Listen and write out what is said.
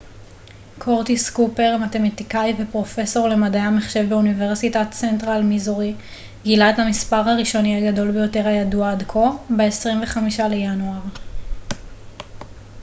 קורטיס קופר מתמטיקאי ופרופסור למדעי המחשב באוניברסיטת סנטרל מיזורי גילה את המספר הראשוני הגדול ביותר הידוע עד כה ב-25 לינואר